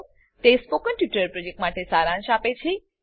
તે spoken tutorial પ્રોજેક્ટનો સારાંશ આપે છે